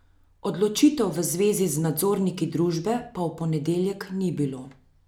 Odločitev v zvezi z nadzorniki družbe pa v ponedeljek ni bilo.